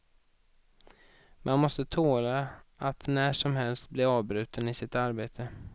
Man måste tåla att när som helst bli avbruten i sitt arbete.